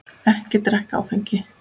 Ekki drekka áfengi.